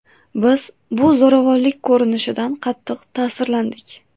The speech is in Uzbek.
Biz bu zo‘ravonlik ko‘rinishidan qattiq ta’sirlandik.